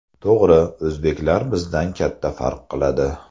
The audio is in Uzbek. To‘g‘ri, o‘zbeklar bizdan katta farq qiladi.